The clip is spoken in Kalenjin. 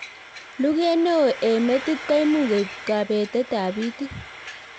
Luget neo eng metit koimuch koib kebeet itiit